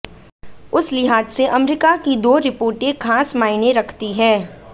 उस लिहाज से अमरीका की दो रिपोर्टें खास मायने रखती हैं